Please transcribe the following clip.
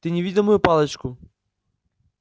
ты не видел мою палочку